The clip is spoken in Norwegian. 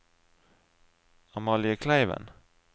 Amalie Kleiven